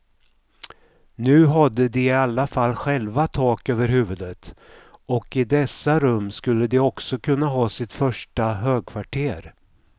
Nu hade de i alla fall själva tak över huvudet, och i dessa rum skulle de också kunna ha sitt första högkvarter.